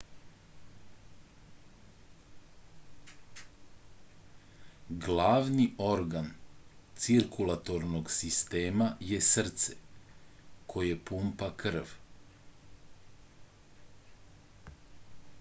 glavni organ cirkulatornog sistema je srce koje pumpa krv